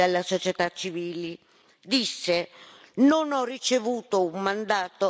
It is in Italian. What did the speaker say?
Disse Non ho ricevuto un mandato dal popolo europeo.